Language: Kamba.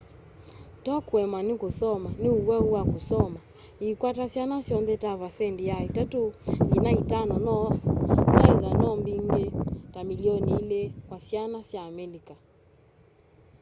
ti kuemwa nikusoma ni uwau wa kusoma yikwataa syana syonthe ta vaasendi ya 3 nginya 5 noethwa no mbingi ta milioni 2 kwa syana sya amelika